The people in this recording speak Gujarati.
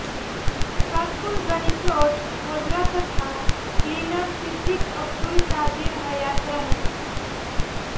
સાતપુલ ગની પ્લોટ ગોધરા તથા કલીનર સિદ્દીક અબ્દુલ કાદીર હયાત રહે